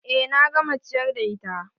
Eh na gama ciyar da ita.